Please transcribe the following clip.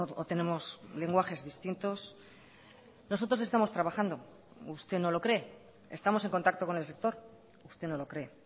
o tenemos lenguajes distintos nosotros estamos trabajando usted no lo cree estamos en contacto con el sector usted no lo cree